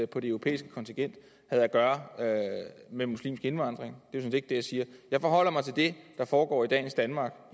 på det europæiske kontinent havde at gøre med muslimsk indvandring det er set ikke det jeg siger jeg forholder mig til det der foregår i dagens danmark